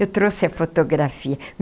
Eu trouxe a fotografia.